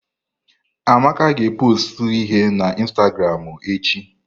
Amaka ga pọstụ ihe na ịnstagramụ echi.